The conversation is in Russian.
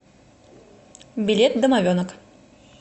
билет домовенок